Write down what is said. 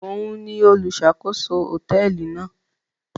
Òún ní oluṣakoso hotẹẹli náà